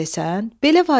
Belə vacibdir,